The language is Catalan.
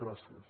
gràcies